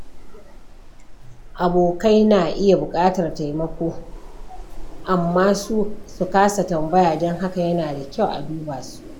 Abokai na iya buƙatar taimako amma su kasa tambaya, don haka yana da kyau a duba su.